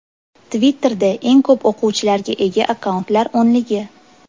Twitter’da eng ko‘p o‘quvchilarga ega akkauntlar o‘nligi.